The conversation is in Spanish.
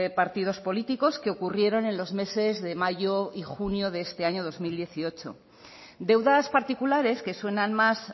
partidos políticos que ocurrieron en los meses de mayo y junio de este año dos mil dieciocho deudas particulares que suenan más